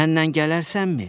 Mənlə gələrsənmi?